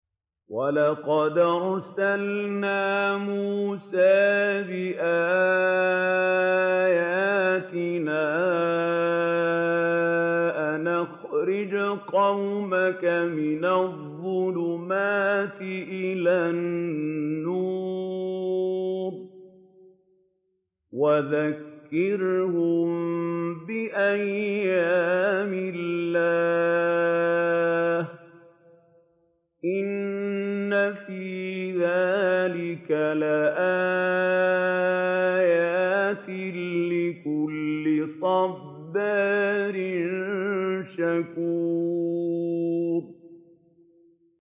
وَلَقَدْ أَرْسَلْنَا مُوسَىٰ بِآيَاتِنَا أَنْ أَخْرِجْ قَوْمَكَ مِنَ الظُّلُمَاتِ إِلَى النُّورِ وَذَكِّرْهُم بِأَيَّامِ اللَّهِ ۚ إِنَّ فِي ذَٰلِكَ لَآيَاتٍ لِّكُلِّ صَبَّارٍ شَكُورٍ